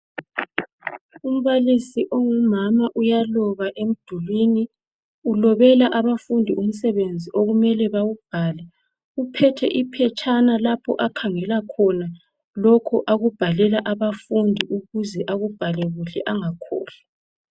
umbalisi ongumama uyaloba emdulini ulobela abafundi umsebenzi okumele bawubhale uphethe iphetshana lapho akhangela khona lokhu akubhalela abafundi ukuze akubhale kuhle angakhohlwa